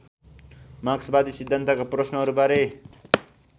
मार्क्सवादी सिद्धान्तका प्रश्नहरूबारे